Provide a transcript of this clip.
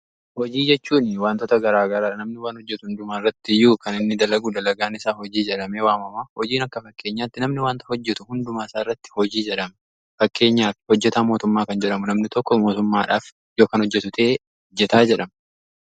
Hojii jechuun wantoota garaagara namni waan hojjetu hundumaa irrattiiyyuu kan inni dalaguu dalagaan isaa hojii jedhamee waamama. Hojiin akka fakkeenyaatti namni wanta hojjetu hundumaa isaa irratti fakkeenyaaf hojjetaa mootummaa kan jedhamu namni tokko mootummaadhaaf yoo kan hojjetu ta'e hojjetaa jedhama.